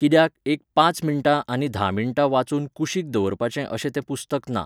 कित्याक, एक पांच मिणटां आनी धा मिणटां वाचून कुशीक दवरपाचें अशें तें पुस्तक ना.